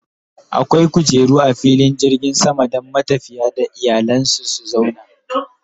akwai kujeru a filin jirgin sama Dan matafiya da iyalansu su zauna